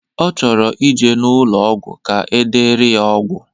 Ọ chọrọ ije n'ụlọ ọgwụ ka edere ya ọgwụ.